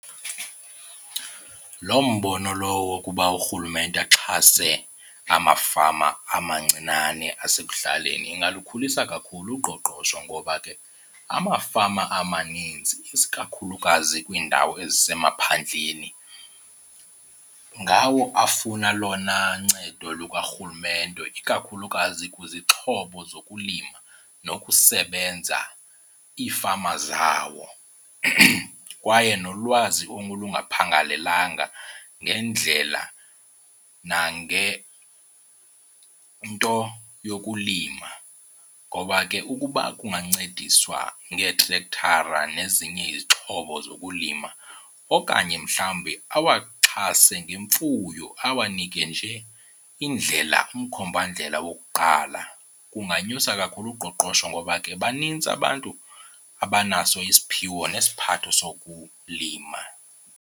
Loo mbono lowo wokuba uRhulumente axhase amafama amancinane asekuhlaleni ingalukhulisa kakhulu uqoqosho ngoba ke amafama amanintsi isikakhulukazi kwiindawo ezisemaphandleni ngawo afuna olona ncedo lukaRhulumente, ikakhulukazi kwizixhobo zokulima nokusebenza iifama zawo. Kwaye nolwazi olungaphangalelanga ngendlela nangento yokulima. Ngoba ke ukuba kungancediswa ngeetrekthara nezinye izixhobo zokulima okanye mhlawumbi awaxhase ngemfuyo, awanike nje indlela umkhombandlela wokuqala kunganyusa kakhulu uqoqosho ngoba ke banintsi abantu abanaso isiphiwo nesiphatho sokulima.